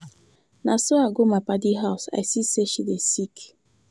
Na as I go my paddy house I see sey she dey sick.